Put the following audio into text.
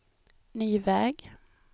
ny väg